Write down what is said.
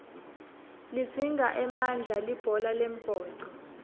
lidzinga emandla libhola lembhoco